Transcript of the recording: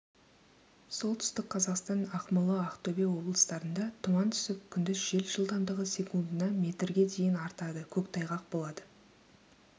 солтүстік қазақстан ақмола ақтөбе облыстарында тұман түсіп күндіз жел жылдамдығы секундына метрге дейін артады көктайғақ болады